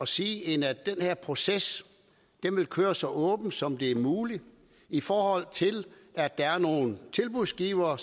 sige end at den her proces vil køre så åbent som det er muligt i forhold til at der er nogle tilbudsgivere